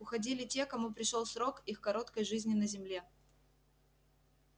уходили те кому пришёл срок их короткой жизни на земле